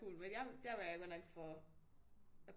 Cool men jeg der var jeg godt nok for